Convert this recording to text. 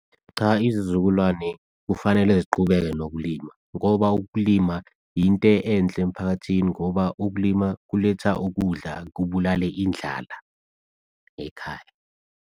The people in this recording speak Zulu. Cha, izizukulwane kufanele ziqhubeke nokulima ngoba ukulima into enhle emiphakathini ngoba ukulima kuletha ukudla. Kubulale indlala ekhaya.